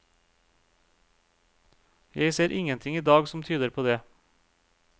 Jeg ser ingenting i dag som tyder på det.